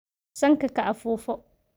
Sanka ka afuufo.